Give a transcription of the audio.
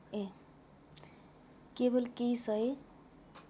केवल केही सय